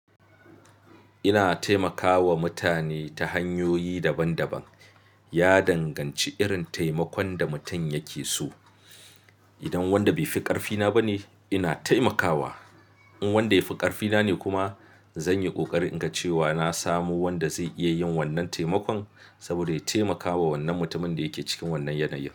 Ina taimakawa mutane ta hanyoyi daban daban. Ya danganci irin taimakon da mutum yake so. Idan wanda bai fi ƙarfi na ba ne, ina taimakawa. In wanda ya fi ƙarfi na ne kuma, zanyi ƙoƙari in ga cewa na samu wanda zai iya yin wannan taimakon saboda ya taimakawa wannan mutumin da yake cikin wannan yanayi.